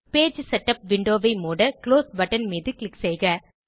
page setup விண்டோவை மூட close button மீது க்ளிக் செய்க